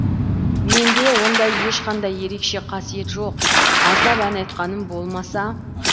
менде ондай ешқандай ерекше қасиет жоқ аздап ән айтқаным болмаса